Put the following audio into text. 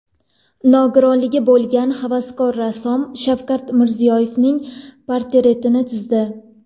Nogironligi bo‘lgan havaskor rassom Shavkat Mirziyoyevning portretini chizdi .